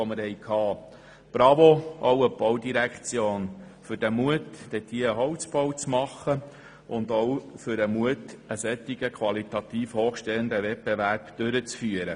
Bravo auch an die Baudirektion für den Mut, einen Holzbau zu machen und auch für den Mut, einen qualitativ hochstehenden Wettbewerb durchzuführen.